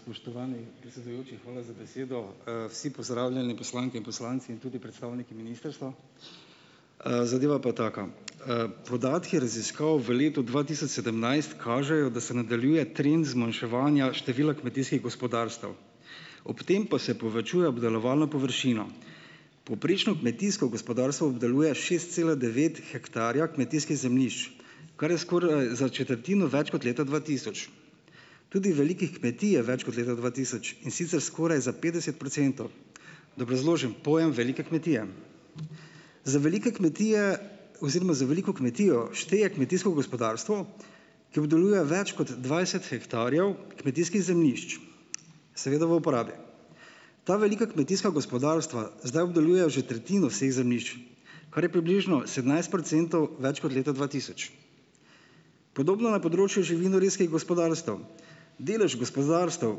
Spoštovani predsedujoči, hvala za besedo. Vsi pozdravljeni, poslanke in poslanci, in tudi predstavniki ministrstva! Zadeva pa taka! Podatki raziskav v letu dva tisoč sedemnajst kažejo, da se nadaljuje trend zmanjševanja števila kmetijskih gospodarstev, ob tem pa se povečuje obdelovalno površino. Povprečno kmetijsko gospodarstvo obdeluje šest cela devet hektarja kmetijskih zemljišč, kar je skoraj za četrtino več kot leta dva tisoč. Tudi velikih kmetij je več kot leta dva tisoč, in sicer skoraj za petdeset procentov. Da obrazložim pojem velike kmetije. Za velike kmetije oziroma za veliko kmetijo šteje kmetijsko gospodarstvo, ki obdeluje več kot dvajset hektarjev kmetijskih zemljišč, seveda v uporabi. Ta velika kmetijska gospodarstva zdaj obdelujejo že tretjino vseh zemljišč. Kar je približno sedemnajst procentov več kot leta dva tisoč. Podobno na področju živinorejskih gospodarstev. Delež gospodarstev,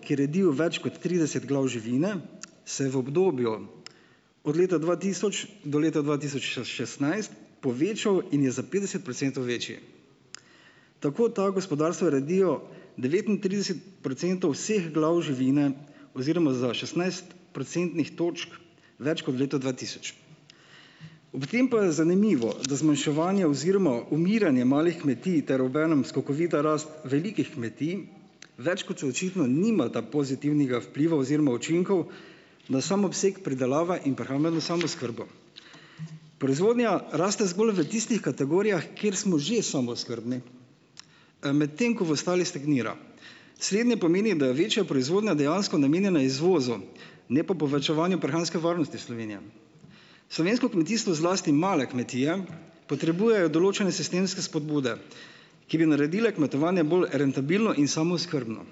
ki redijo več kot trideset glav živine, se je v obdobju od leta dva tisoč do leta dva tisoč šestnajst povečal in je za petdeset procentov večji. Tako ta gospodarstva redijo devetintrideset procentov vseh glav živine oziroma za šestnajst procentnih točk več kot v letu dva tisoč. Ob tem pa je zanimivo, da zmanjševanje oziroma umiranje malih kmetij ter obenem skokovita rast velikih kmetij več kot očitno nimata pozitivnega vpliva oziroma učinkov na sam obseg pridelave in prehrambeno samooskrbo. Proizvodnja raste zgolj v tistih kategorijah, kjer smo že samooskrbni. Medtem ko v ostalih stagnira. Slednje pomeni, da je večja proizvodnja dejansko namenjena izvozu, ne pa povečevanju prehranske varnosti Slovenije. Slovensko kmetijstvo, zlasti male kmetije, potrebujejo določene sistemske spodbude, ki bi naredile kmetovanje bolj rentabilno in samooskrbno.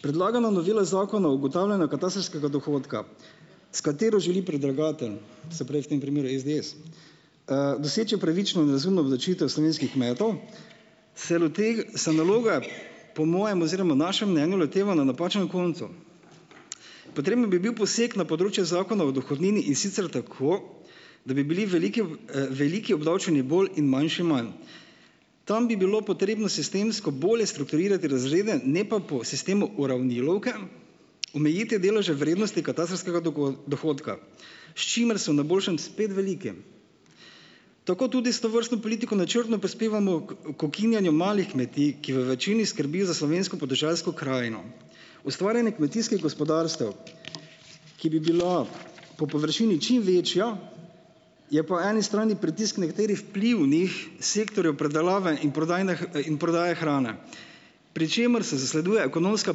Predlagana novela Zakona o ugotavljanju katastrskega dohodka, s katero želi predlagatelj se preh, v tem primeru SDS, doseči pravično in razumno obdavčitev slovenskih kmetov, se se naloge po mojem oziroma našem mnenju loteva na napačnem koncu. Potreben bi bil poseg na področje Zakona o dohodnini, in sicer tako, da bi bili veliki, veliki obdavčeni bolj in manjši manj. Tam bi bilo potrebno sistemsko bolje strukturirati razrede, ne pa po sistemu uravnilovke omejiti deleže vrednosti katastrskega dohodka. S čimer so na boljšem spet veliki. Tako tudi s tovrstno politiko načrtno prispevamo k, k ukinjajo malih kmetij, ki v večini skrbi za slovensko podeželsko krajino. Ustvarjanje kmetijskih gospodarstev, ki bi bila po površini čim večja, je po eni strani pritisk nekaterih vplivnih sektorjev predelave in prodajne prodaje hrane. Pri čemer se zasleduje ekonomska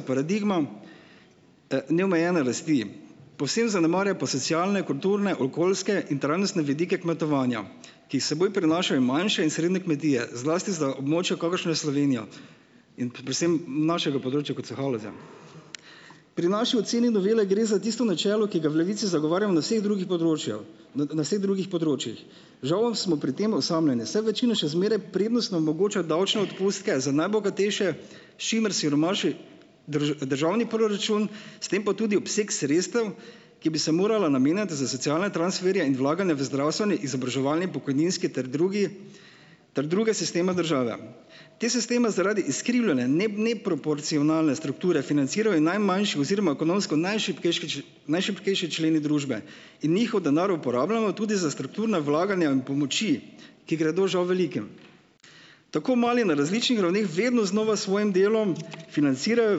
paradigma, neomejene rasti. Povsem zanemarja pa se socialne, kulturne, okoljske in trajnostne vidike kmetovanja, ki jih s seboj prinašajo manjše in srednje kmetije, zlasti za območje, kakršno je Slovenija. In predvsem našega področja, kot so Haloze. Pri naši oceni novele gre za tisto načelo, ki ga v Levici zagovarjamo na vseh drugih področjih, na vseh drugih področjih. Žal smo pri tem osamljeni, saj večina še zmeraj prednostno omogoča davčne odpustke za najbogatejše, s čimer siromaši državni proračun, s tem pa tudi obseg sredstev, ki bi se morala namenjati za socialne transferje in vlaganje v z zdravstveni, izobraževalni, pokojninski ter drugi ter druge sisteme države. Te sisteme zaradi izkrivljanja, ne, neproporcionalne strukture financirajo najmanjši oziroma ekonomsko najšibkejši najšibkejši členi družbe. In njihov denar uporabljamo tudi za strukturna vlaganja in pomoči, ki gredo, žal, velikim. Tako mali na različnih ravneh vedno znova s svojim delom financirajo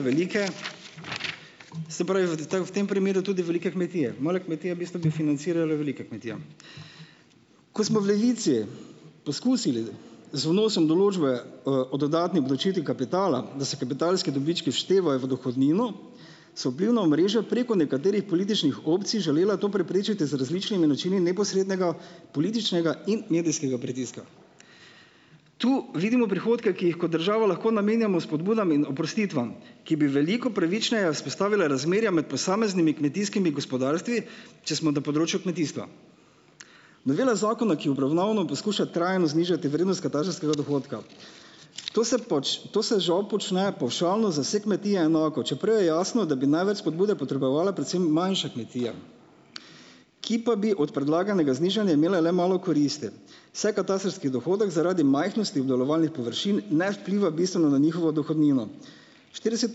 velike, v tem primeru tudi velike kmetije. Male kmetije bistvu bi financirale velikim kmetijam. Ko smo v Levici poskusili z vnosom določbe, o dodatni obdavčitvi kapitala, da se kapitalski dobički vštevajo v dohodnino, so vplivna omrežja preko nekaterih političnih opcij želela to preprečiti z različnimi načini neposrednega političnega in medijskega pritiska. Tu vidimo prihodke, ki jih kot država lahko namenjamo pobudam in oprostitvam, ki bi veliko pravičnega vzpostavile razmerja med posameznimi kmetijskimi gospodarstvi, če smo na področju kmetijstva. Novela zakona, ki jo obravnavamo, poskuša trajno znižati vrednost katastrskega dohodka. To se to se žal počne pavšalno, za vse kmetije enako, čeprav je jasno, da bi največ spodbude potrebovale predvsem manjše kmetije. Ki pa bi od predlaganega znižanja imele le malo koristi, saj katastrski dohodek zaradi majhnosti obdelovalnih površin ne vpliva bistveno na njihovo dohodnino. Štirideset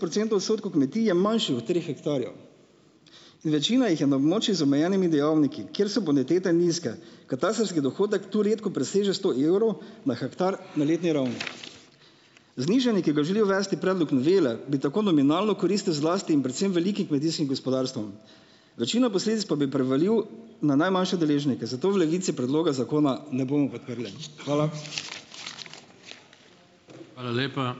procentov odstotkov kmetij je manjših od treh hektarjev. In večina jih je na območju z omejenimi dejavniki. Kjer so bonitete nizke. Katastrski dohodek tu redko preseže sto evrov na hektar na letni ravni. Znižanje, ki ga želi uvesti predlog novele, bi tako nominalno koristil zlasti in predvsem velikim kmetijskim gospodarstvom. Večino posledic pa bi prevalil na najmanjše deležnike. Zato v Levici predloga zakona ne bomo podprli. Hvala.